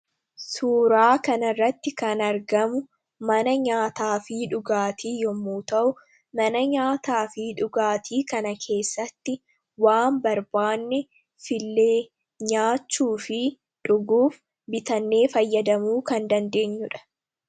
Suuraa kana irratti kan argamu mana nyaataa fi dhugaatii yommuu ta'u; Mana nyaataa fi dhugaatii kana keessatti waan barbaanne fillee nyaachuu fi dhuguuf bitannee fayyadamuu kan dandeenyuudha.